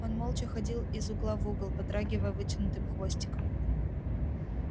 он молча ходил из угла в угол подрагивая вытянутым хвостиком